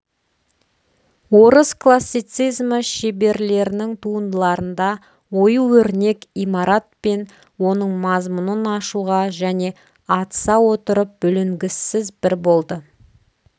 орыс классицизмі шеберлерінің туындыларында ою-өрнек имаратпен оның мазмұнын ашуға және атыса отырып бүлінгіссіз бір болды